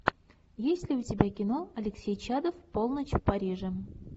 есть ли у тебя кино алексей чадов полночь в париже